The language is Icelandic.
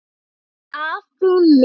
Afi minn.